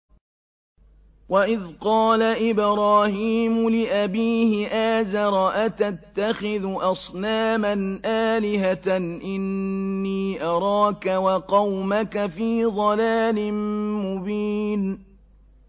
۞ وَإِذْ قَالَ إِبْرَاهِيمُ لِأَبِيهِ آزَرَ أَتَتَّخِذُ أَصْنَامًا آلِهَةً ۖ إِنِّي أَرَاكَ وَقَوْمَكَ فِي ضَلَالٍ مُّبِينٍ